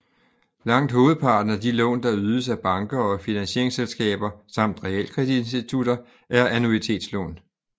Langt hovedparten af de lån der ydes af banker og finansieringsselskaber samt realkreditinstitutter er annuitetslån